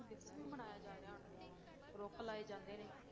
ਦਿਵਸ ਵੀ ਮਨਾਇਆ ਜਾ ਰਿਹਾ ਹੁਣ ਤੇ, ਰੁੱਖ ਲਾਏ ਜਾਂਦੇ ਨੇ,